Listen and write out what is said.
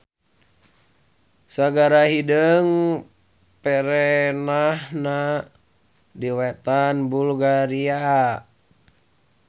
Sagara Hideung perenahna di wetan Bulgaria.